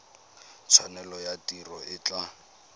tshwanelo ya tiro e tla